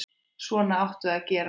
Svona áttu að gera.